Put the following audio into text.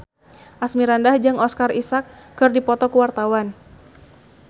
Asmirandah jeung Oscar Isaac keur dipoto ku wartawan